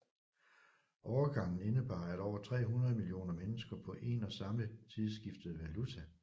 Overgangen indebar at over 300 millioner mennesker på en og samme tid skiftede valuta